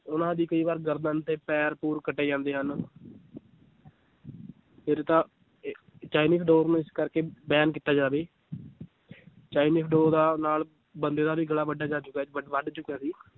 ਉਹਨਾਂ ਦੀ ਕਈ ਵਾਰ ਗਰਦਨ ਤੇ ਪੈਰ ਪੂਰ ਕੱਟੇ ਜਾਂਦੇ ਹਨ ਫਿਰ ਤਾਂ ਇਹ ਚਾਈਨੀਜ ਡੋਰ ਨੂੰ ਇਸ ਕਰਕੇ ਬੈਨ ਕੀਤਾ ਜਾਵੇ ਚਾਈਨੀਜ ਡੋਰਾਂ ਨਾਲ ਬੰਦੇ ਦਾ ਵੀ ਗਲਾ ਵੱਡਿਆ ਜਾ ਚੁੱਕਾ ਹੈ ਵੱ~ ਵੱਡ ਚੁੱਕਾ ਸੀ